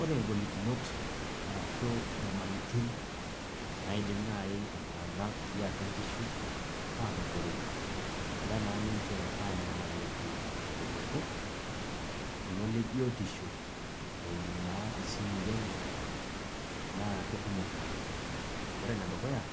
ore ngolikinot arashu inyamalitin naaidim naaji iltunganak liatu nkishu aanotore, egira naa ninche aanyamaliki irkiliku. kulo lebiotisho eimu naa isimui enye. naa kekumok oleng. ore ene dukuya naa